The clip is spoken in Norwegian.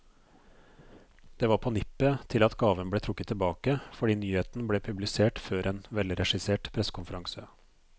Det var på nippet til at gaven ble trukket tilbake, fordi nyheten ble publisert før en velregissert pressekonferanse.